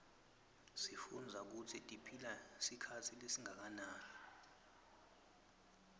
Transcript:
sifundza kutsi tiphila sikhatsi lesinganani